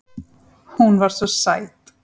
Hún var svo sæt.